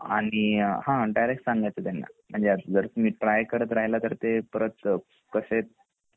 आणि हा डायरेक्ट सांगायच त्यांना म्हणजे जर तुम्ही ट्राय करत राहीला तर ते परत कसे